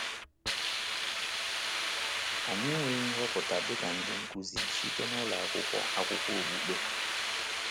Anyị enweghị nhọpụta dị ka ndị nkuzi site n’ụlọ akwụkwọ akwụkwọ okpukpe.